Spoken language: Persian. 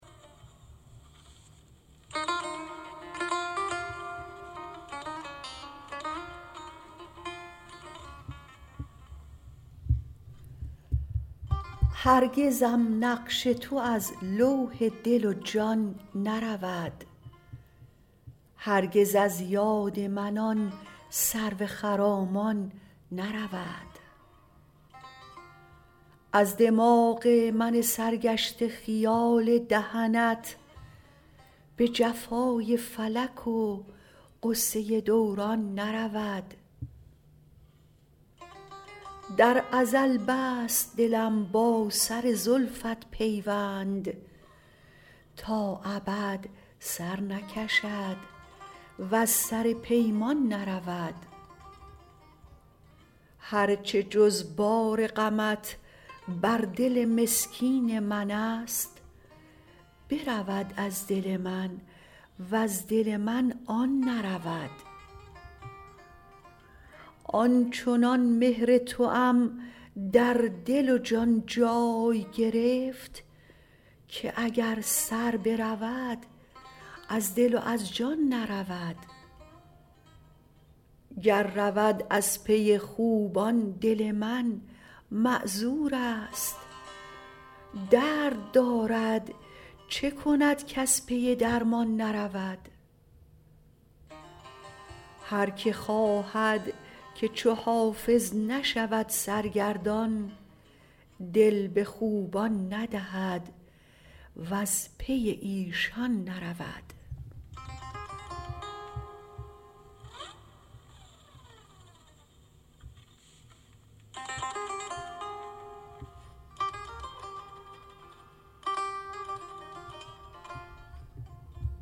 هرگزم نقش تو از لوح دل و جان نرود هرگز از یاد من آن سرو خرامان نرود از دماغ من سرگشته خیال دهنت به جفای فلک و غصه دوران نرود در ازل بست دلم با سر زلفت پیوند تا ابد سر نکشد وز سر پیمان نرود هر چه جز بار غمت بر دل مسکین من است برود از دل من وز دل من آن نرود آن چنان مهر توام در دل و جان جای گرفت که اگر سر برود از دل و از جان نرود گر رود از پی خوبان دل من معذور است درد دارد چه کند کز پی درمان نرود هر که خواهد که چو حافظ نشود سرگردان دل به خوبان ندهد وز پی ایشان نرود